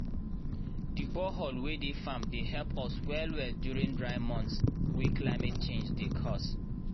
the borehole wey dey farm dey help us well well during dry months wey climate change dey cause.